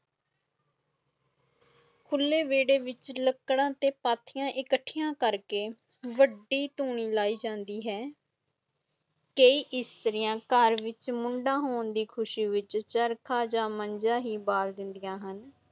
ਖੁਲੇ ਵੇਦੇ ਵਿਚ ਲਾਕੜਾ ਤੇ ਪਾਥੀਆਂ ਕਥੀਆਂ ਕਰਕੇ ਵਡੀ ਤੁਨੀ ਲਈ ਜਾਂਦੀ ਹੈਂ ਕਈ ਸਤਰੀਆਂ ਕਰ ਵਿਚ ਮੁੰਡਾ ਹੋਣ ਦੀ ਖੁਸ਼ੀ ਹੋਣ ਵਿਚ ਚਰਖਾ ਤੇ ਮੰਜਾ ਹੀ ਬਾਲ ਦੇਦਿਆਂ ਹੁਣ